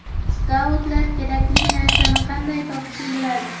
Skautlar kerakli narsani qanday topishni biladi.